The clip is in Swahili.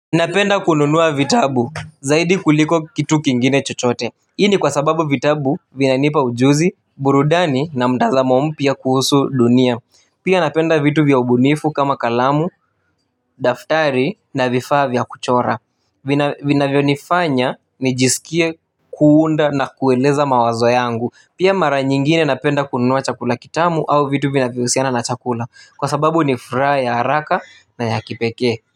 Napenda kununua vitabu, zaidi kuliko kitu kingine chochote. Hii ni kwa sababu vitabu vinanipa ujuzi, burudani na mtazamo mpya kuhusu dunia. Pia napenda vitu vya ubunifu kama kalamu, daftari na vifaa vya kuchora vinavyonifanya nijisikie kuunda na kueleza mawazo yangu. Pia mara nyingine napenda kununua chakula kitamu au vitu vinavyohusiana na chakula. Kwa sababu ni furaha ya haraka na ya kipekee. Kwa hivyo.